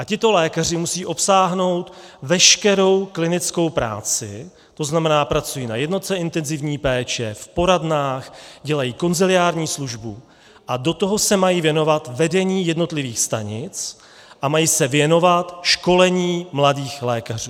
A tito lékaři musí obsáhnout veškerou klinickou práci, to znamená, pracují na jednotce intenzivní péče, v poradnách, dělají konsiliární službu a do toho se mají věnovat vedení jednotlivých stanic a mají se věnovat školení mladých lékařů.